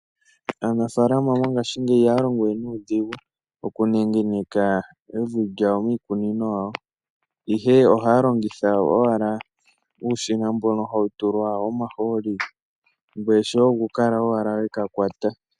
Aanafaalama mongaashingeyi ihaya longo we nuudhigu oku nenegeneka evi miikunino yawo, ihe ohaya longitha owala uushina mbono hawu tulwa omahooli, ngweye shoye oku kala owala weka kwata.